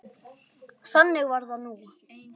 Þannig var það nú.